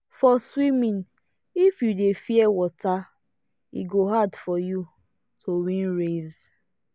for swimming if you dey fear water e go hard you to win race.